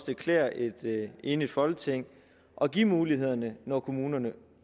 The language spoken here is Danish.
det klæder et enigt folketing at give mulighederne når kommunerne